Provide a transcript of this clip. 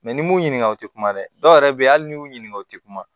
n'i m'u ɲininka o tɛ kuma dɛ dɔw yɛrɛ bɛ yen hali n'i y'u ɲininka o tɛ kuma